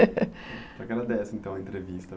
Agradece, então, a entrevista.